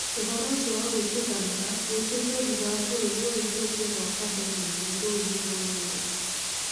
Ũhoro ũcio wa gwĩtĩkanĩra wĩkĩtwo thutha wa bũrũri wa Ethiopia gwaka ndemu nene rũũĩ-inĩ rwa Nairo.